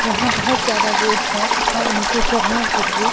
यहां बहोत ज्यादा गोट्स है तथा उनके चरने के लिए--